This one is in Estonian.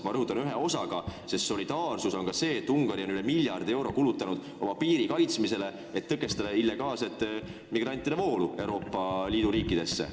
Ma rõhutan, ühe osaga, sest solidaarsus on ka see, et Ungari on üle miljardi euro kulutanud oma piiri kaitsmisele, et tõkestada illegaalsete migrantide voolu Euroopa Liidu riikidesse.